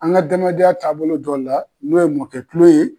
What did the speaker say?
An ŋ'adamadenya taabolo dɔ la n'o ye mɔkɛ tulon ye